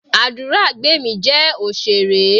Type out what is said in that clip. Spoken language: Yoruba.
Aduragbemi jẹ́ òṣèré.